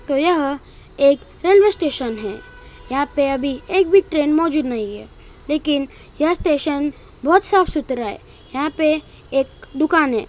तो यह एक रेलवे स्टेशन है यहाँ पे अभी एक भी ट्रेन मौजूद नहीं है लेकीन यह स्टेशन बोहोत साफ सुथरा है यहाँ पे एक दुकान है।